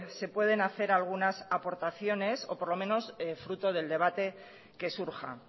se pueden hacer algunas aportaciones o por lo menos fruto del debate que surja